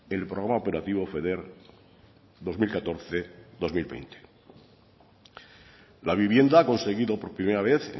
el programa operativo feder dos mil catorce dos mil veinte la vivienda ha conseguido por primera vez